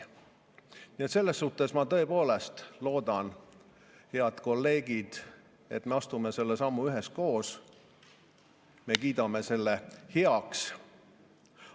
Nii et selles suhtes ma tõepoolest loodan, head kolleegid, et me astume selle sammu üheskoos, me kiidame selle heaks.